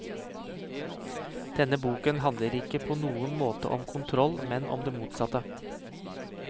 Denne boken handler ikke på noen måte om kontroll, men om det motsatte.